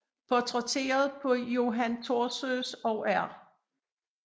Portrætteret på Johan Thorsøes og R